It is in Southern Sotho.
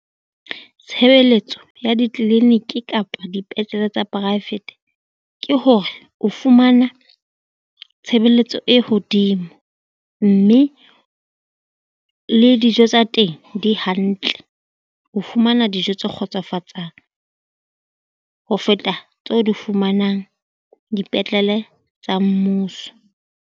Tshebeletso ya di-clinic kapa dipetlele tsa poraefete ke hore o fumana tshebeletso e hodimo, mme le dijo tsa teng di hantle o fumana dijo tse kgotsofatsang. Ho feta tseo di fumanang dipetlele tsa mmuso.